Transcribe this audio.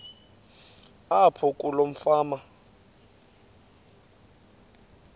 apho kuloo fama